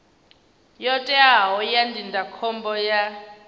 yo teaho ya ndindakhombo ya